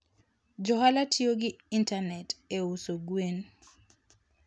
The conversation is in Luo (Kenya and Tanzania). Johala tiyo gi intanet e uso gwen.